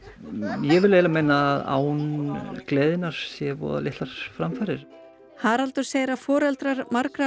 ég vil meina að án gleðinnar séu voða litlar framfarir Haraldur segir að margir foreldra